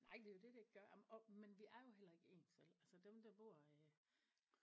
Nej det er jo det det ikke gør ah men åh vi er jo heller ikke ens vel altså dem der bor øh